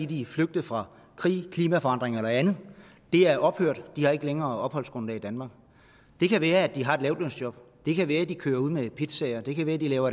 de er flygtet fra krig klimaforandringer eller andet det er ophørt de har ikke længere opholdsgrundlag i danmark det kan være at de har et lavtlønsjob det kan være at de kører ud med pizzaer det kan være at de laver